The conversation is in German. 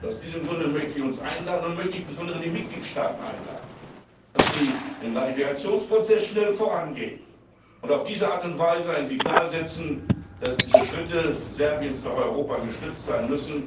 Aus diesem Grunde möchte ich uns und insbesondere die Mitgliedstaaten einladen, dass sie im Ratifikationsprozess schnell vorangehen und auf diese Art und Weise ein Signal senden, dass diese Schritte Serbiens nach Europa gestützt werden müssen,